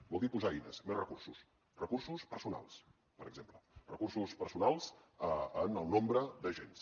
vol dir posar eines més recursos recursos personals per exemple recursos personals en el nombre d’agents